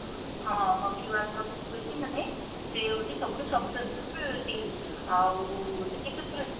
ହଁ hockey world cup ହଉଛି ମାନେ ସେ ହଉଛି ସବୁ ଠୁ successful team ଆଉ ସେ କେତେଥର